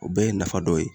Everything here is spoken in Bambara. O bɛɛ ye nafa dɔ ye